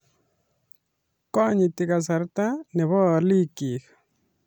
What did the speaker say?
Konyiti kasarta ne bo olikyik